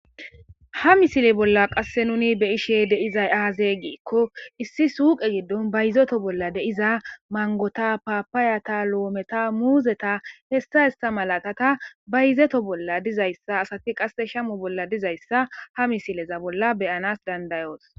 ha misile bolla qasse nuni beyishe deizay aaze giikko issi suuqe giddon bayizeto bolla de'ia mangota ,paapaayata lo7ometa muuzeta hessa hesa malat bayizeto bolla dizayssa asati qasse shamu bolla dizayssa ha misileza bolla beyanas danda'os